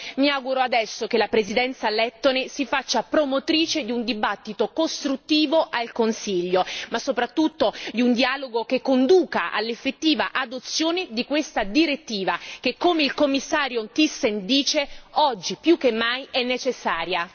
Mi auguro adesso che la Presidenza lettone si faccia promotrice di un dibattito costruttivo al Consiglio, ma soprattutto di un dialogo che conduca all'effettiva adozione di questa direttiva che come il Commissario Thyssen dice oggi, più che mai è necessaria.